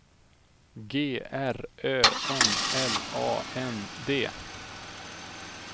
G R Ö N L A N D